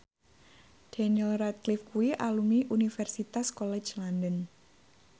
Daniel Radcliffe kuwi alumni Universitas College London